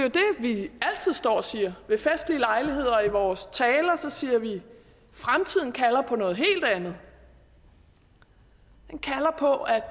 vi altid står og siger ved festlige lejligheder og i vores taler siger vi fremtiden kalder på noget helt andet den kalder på at